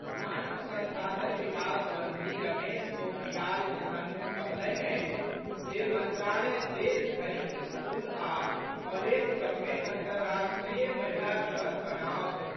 मानव संसाधन विकास मंत्री रमेश पोखरियाल निशंक कहलनि अछि जे मंत्रालय देश भरिक स्कूल आ कॉलेज सभ मे अंतर्राष्ट्रीय महिला दिवस मनाओत।